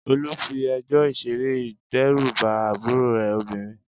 Olú fi ejò ìṣeré dẹ́rù bá àbúrò rẹ̀ obìnrin.